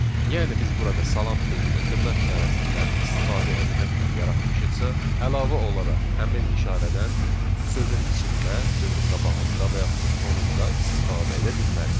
Yəni biz burada salam sözünü dırnaq işarəsindən istifadə etməklə yaratmışıqsa, əlavə olaraq həmin işarədən sözün içində, sözün qabağında və yaxud da sonunda istifadə edə bilmərik.